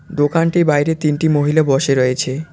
দোকানটির বাইরে তিনটি মহিলা বসে রয়েছে।